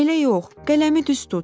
"Elə yox, qələmi düz tut.